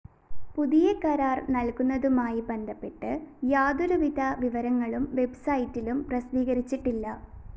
പുതിയ കരാര്‍ നല്‍കുന്നതുമായി ബന്ധപ്പെട്ട് യാതൊരുവിധ വിവരങ്ങളും വെബ്‌സൈറ്റിലും പ്രസിദ്ധീകരിച്ചിട്ടില്ല